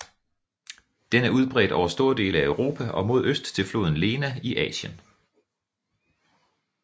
Den er udbredt over store dele af Europa og mod øst til floden Lena i Asien